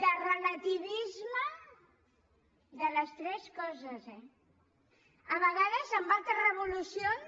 de relativisme de les tres coses eh a vegades en altres revolucions